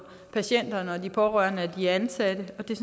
patienterne og de pårørende og de ansatte og det er